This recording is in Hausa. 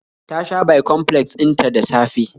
Ta sha bicomplex din ta da safe